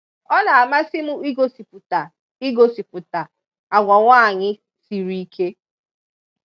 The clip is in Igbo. ọ na-amasị m ịgosịpụta ịgosịpụta agwa nwaanyị siri ike.